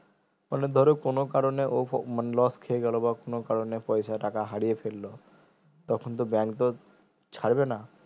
মানে ধরো কোনো কারণে ও ধরো loss খেয়ে গেলো বা কোনো কারণে পয়সা টাকা হারিয়ে ফেললো তখন তো bank তো ছাড়বে না